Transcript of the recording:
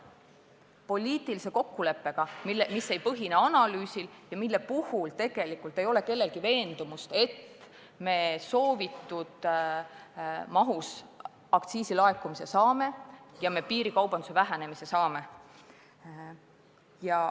See aga on poliitiline kokkulepe, mis ei põhine analüüsil ja mille puhul tegelikult ei ole kellelgi veendumust, et me aktsiisi soovitud mahus laekumise saame ja ka piirikaubandus väheneb.